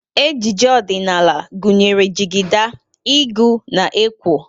Ejiji odịnaala gụnyere jịgịda, ịgụ, na ekwo.